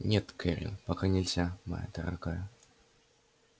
нет кэррин пока нельзя моя дорогая